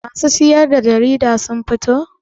Masu siyar da jarida sun fito?